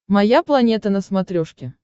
моя планета на смотрешке